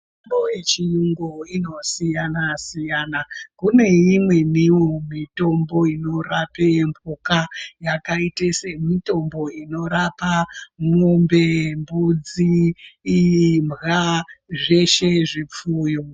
Mitombo yechiyungu inosiyana siyana kune imweniwonmitombo inorape mhuka yakaite semitombo inorapa mwombe, mbudzi, imbwa zveshe zvipfuyo.